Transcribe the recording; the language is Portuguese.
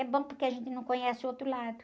É bom porque a gente não conhece o outro lado.